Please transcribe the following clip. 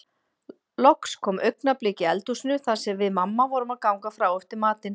Loks kom augnablik í eldhúsinu þar sem við mamma vorum að ganga frá eftir matinn.